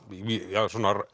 af